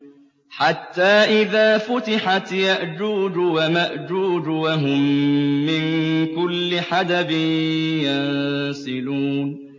حَتَّىٰ إِذَا فُتِحَتْ يَأْجُوجُ وَمَأْجُوجُ وَهُم مِّن كُلِّ حَدَبٍ يَنسِلُونَ